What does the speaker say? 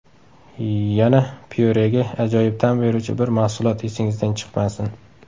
Yana pyurega ajoyib ta’m beruvchi bir mahsulot esingizdan chiqmasin.